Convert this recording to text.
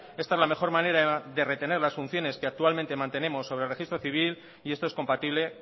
esta es la mejor manera de retener las funciones que actualmente mantenemos sobre el registro civil y esto es compatible